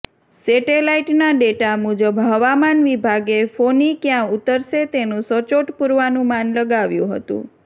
સેટેલાઈટના data મુજબ હવામાન વિભાગે ફોની ક્યાં ઉતરશે તેનું સચોટ પૂર્વાનુમાન લગાવ્યું હતું